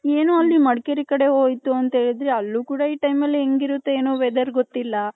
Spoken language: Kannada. ಏನೋ ಅಲ್ಲಿ ಮಡಕೇರಿ ಕಡೆ ಹೋಯ್ತು ನಥ ಹೇಳಿದ್ರೆ ಅಲ್ಲಿ ಕೂಡ ಈ time ಅಲ್ಲಿ ಹೆಂಗ್ ಇರುತ್ಹೋ ಏನೋ weather ಗೊತ್ತಿಲ್ಲ .